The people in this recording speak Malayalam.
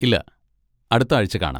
ഇല്ല, അടുത്ത ആഴ്ച കാണാം.